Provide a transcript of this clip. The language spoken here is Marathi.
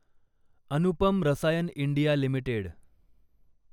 Anupam Rasayan India limited